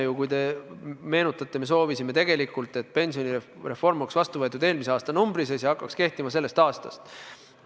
Kui te meenutate, siis me soovisime tegelikult, et pensionireform oleks vastu võetud eelmise aastanumbri sees ja hakkaks kehtima sellest aastast.